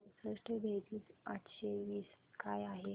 चौसष्ट बेरीज आठशे वीस काय आहे